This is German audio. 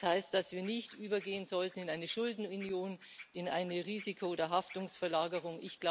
Das heißt, dass wir nicht übergehen sollten in eine Schuldenunion, in eine Risiko oder Haftungsverlagerung.